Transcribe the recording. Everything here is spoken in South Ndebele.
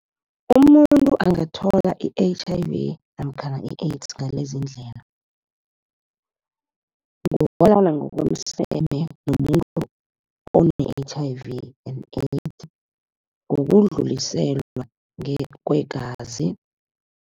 Umuntu angathola i-H_I_V namkhana i-AIDS ngaleziindlela ngokobana ngokomseme nomuntu one-H_I_V and AIDS, ngokudluliselwa kwegazi.